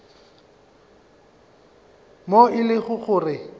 moo e lego gore go